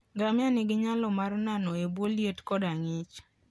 Ngamia nigi nyalo mar nano e bwo liet koda ng'ich.